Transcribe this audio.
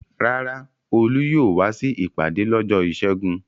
Rárá, Olú yóò wá sí ìpàdé lọ́jọ́ ìṣẹ́gun.